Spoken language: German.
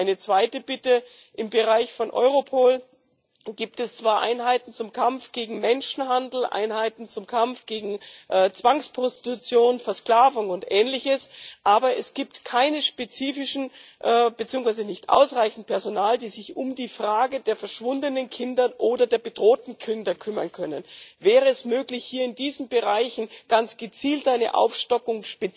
Eine zweite Bitte Im Bereich von Europol gibt es zwar Einheiten zum Kampf gegen Menschenhandel, Einheiten zum Kampf gegen Zwangsprostitution, Versklavung und ähnliches, aber es gibt kein spezifisches beziehungsweise kein ausreichendes Personal, das sich um die Frage der verschwundenen Kinder oder der bedrohten Kinder kümmern kann. Wäre es möglich, hier in diesen Bereichen ganz gezielt eine Aufstockung